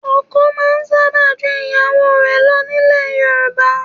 Ọkọ máa ń sábà ju ìyàwó lọ nílẹ̀ Yorùbá.